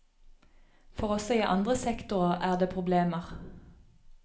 For også i andre sektorer er det problemer.